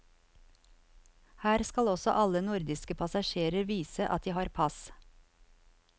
Her skal også alle nordiske passasjerer vise at de har pass.